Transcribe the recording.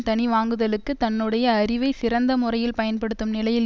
தனி வாங்குதலுக்கு தன்னுடைய அறிவை சிறந்த முறையில் பயன்படுத்தும் நிலையில்